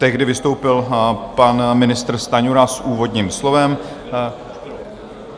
Tehdy vystoupil pan ministr Stanjura s úvodním slovem.